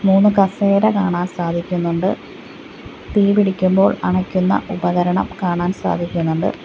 മൂന്ന് കസേര കാണാൻ സാധിക്കുന്നുണ്ട് തീ പിടിക്കുമ്പോൾ അണയ്ക്കുന്ന ഉപകരണം കാണാൻ സാധിക്കുന്നുണ്ട്.